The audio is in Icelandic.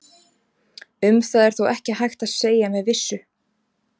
Um það er þó ekki hægt að segja með vissu.